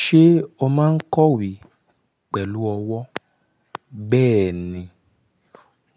Ṣé o máa ń kọ̀wé pẹ̀lú ọwọ́? Bẹ́ẹ̀ni,